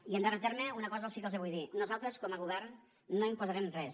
i en darrer terme una cosa sí que els vull dir nosaltres com a govern no imposarem res